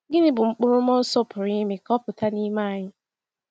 Gịnị bụ mkpụrụ mmụọ Nsọ pụrụ ime ka ọ pụta n’ime anyị?